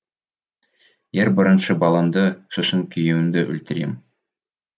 ең бірінші балаңды сосын күйеуіңді өлтірем